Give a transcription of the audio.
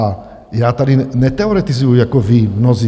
A já tady neteoretizuji jako vy mnozí.